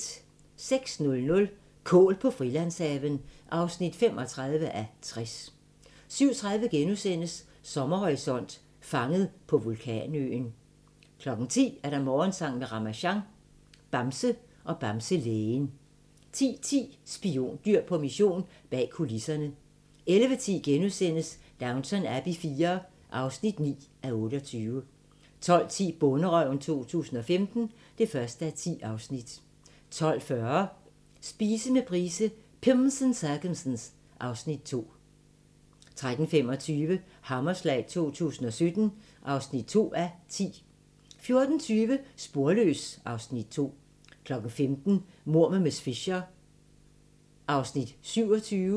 06:00: Kål på Frilandshaven (35:60) 07:30: Sommerhorisont: Fanget på vulkanøen * 10:00: Morgensang med Ramasjang | Bamse og Bamselægen 10:10: Spiondyr på mission – bag kulisserne 11:10: Downton Abbey IV (9:28)* 12:10: Bonderøven 2015 (1:10) 12:40: Spise med Price - Pimms and circumstance (Afs. 2) 13:25: Hammerslag 2017 (2:10) 14:20: Sporløs (Afs. 2) 15:00: Mord med miss Fisher (27:13)